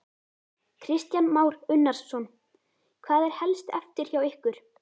Kristján Már Unnarsson: Hvað er helst eftir hjá ykkur?